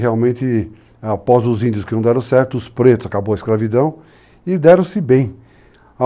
Realmente, após os índios que não deram certo, os pretos, acabou a escravidão, e deram-se bem.